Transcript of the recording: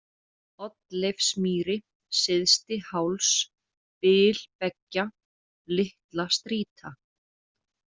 Oddleifsmýri, Syðsti-Háls, Bil/beggja, Litlastrýta